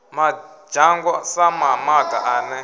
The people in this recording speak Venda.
madzhango sa mamaga a ne